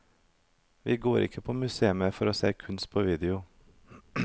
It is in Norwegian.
Vi går ikke på museum for å se kunst på video.